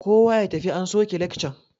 Kowa ya tafi an soke lekcan!